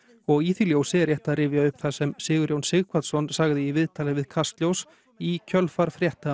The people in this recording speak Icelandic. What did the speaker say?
og í því ljósi er rétt að rifja upp það sem Sigurjón Sighvatsson sagði í viðtal við Kastljós í kjölfar frétta